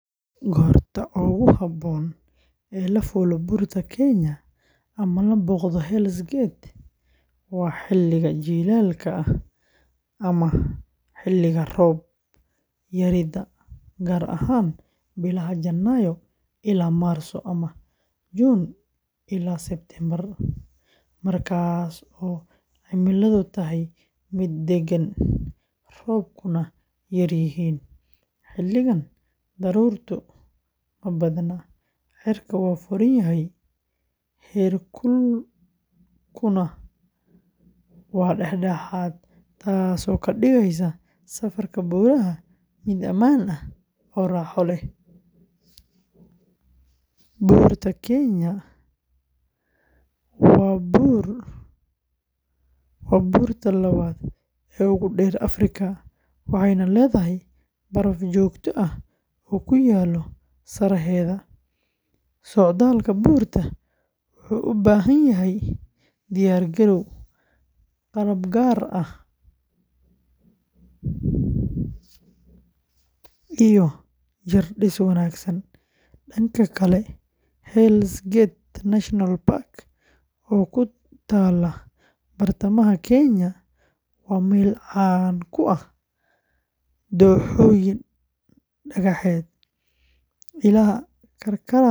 Goorta ugu habboon ee la fuulo Buurta Kenya ama la booqdo Hell's Gate waa xilliga jiilaalka ama xilliga roob-yarida, gaar ahaan bilaha Janaayo ilaa Maarso ama Juun ilaa Sebtembar, markaas oo cimiladu tahay mid deggan, roobabkuna yaryihiin. Xilligan, daruurtu ma badna, cirka waa furan yahay, heerkulkuna waa dhexdhexaad, taasoo ka dhigaysa safarka buuraha mid ammaan ah oo raaxo leh. Buurta Kenya waa buurta labaad ee ugu dheer Afrika, waxayna leedahay baraf joogto ah oo ku yaal sareheeda. Socdaalka buurta wuxuu u baahan yahay diyaar-garow, qalab gaar ah, iyo jirdhis wanaagsan. Dhanka kale, Hell’s Gate National Park, oo ku taalla bartamaha Kenya, waa meel caan ku ah dooxooyin dhagaxeed, ilaha karkaraya.